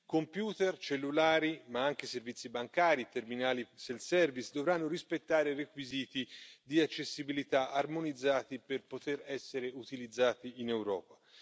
Computer, cellulari, ma anche servizi bancari e terminali self service dovranno rispettare requisiti di accessibilità armonizzati per poter essere utilizzati in Europa.